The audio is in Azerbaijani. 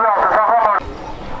Yoxdur, saxla.